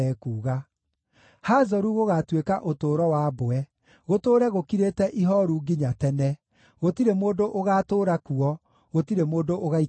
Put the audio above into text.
“Hazoru gũgaatuĩka ũtũũro wa mbwe, gũtũũre gũkirĩte ihooru nginya tene. Gũtirĩ mũndũ ũgaatũũra kuo; gũtirĩ mũndũ ũgaikara kuo.”